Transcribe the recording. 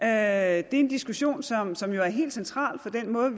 er en diskussion som som jo er helt central for den måde